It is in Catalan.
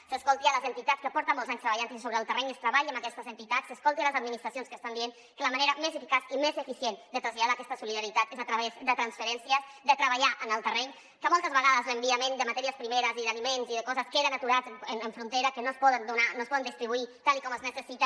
que s’escoltin les en·titats que porten molts anys treballant sobre el terreny que es treballi amb aquestes entitats que s’escoltin les administracions que estan dient que la manera més eficaç i més eficient de traslladar aquesta solidaritat és a través de transferències de treba·llar en el terreny perquè moltes vegades els enviaments de matèries primeres i d’ali·ments i de coses queden aturats en frontera no es poden donar no es poden distri·buir tal com es necessita